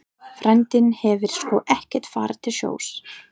Frændinn hafði sko ekkert farið til sjós.